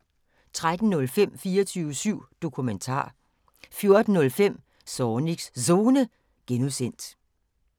13:05: 24syv Dokumentar 14:05: Zornigs Zone (G)